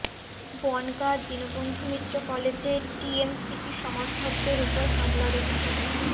বনগাঁ দীনবন্ধু মিত্র কলেজে টিএমসিপি সমর্থকদের ওপর হামলার অভিযোগ